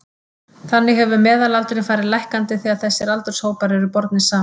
Þannig hefur meðalaldurinn farið lækkandi þegar þessir aldurshópar eru bornir saman.